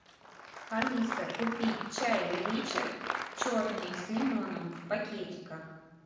алиса купи чай ричард черный с лимоном в пакетиках